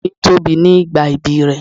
Ọmọ mi tóbi ní ìgbà ibí rẹ̀.